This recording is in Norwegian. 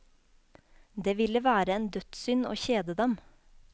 Det ville være en dødssynd å kjede dem.